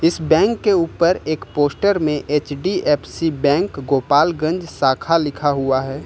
इस बैंक के ऊपर एक पोस्टर में एच_डी_एफ_सी बैंक गोपालगंज शाखा लिखा हुआ है।